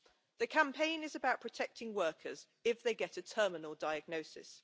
The campaign is about protecting workers if they get a terminal diagnosis.